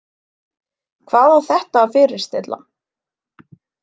Hvað á þetta að fyrirstilla?